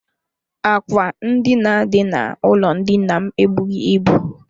Ákwà ndina dị n'ụlọ ndina m ebughi ịbụ.